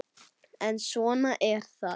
En svona er það.